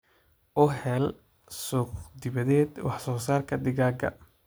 U hel suuq-dibadeed wax-soo-saarka digaagga.